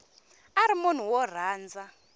a ri munhu wo rhandza